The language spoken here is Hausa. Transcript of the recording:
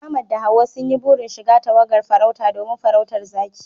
Ahmad da Hawwa sun yi burin shiga tawagar farauta domin farautar zaki